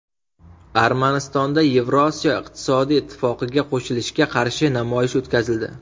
Armanistonda Yevrosiyo iqtisodiy ittifoqiga qo‘shilishga qarshi namoyish o‘tkazildi.